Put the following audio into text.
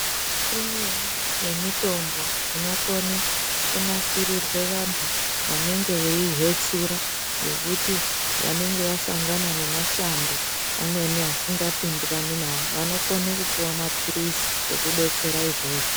Imweni ye mitombo inokone ku nasirirwe vantu vanenge vei hwetsura ngekuti vanenge vasangana ne matambudziko mashango amweni asinga pindirani nawo vano kone kupuwa mapirizi eku detsera izvozvo.